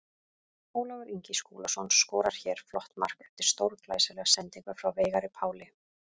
Ólafur Ingi Skúlason skorar hér flott mark eftir stórglæsilega sendingu frá Veigari Páli.